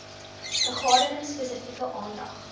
vergaderings spesifieke aandag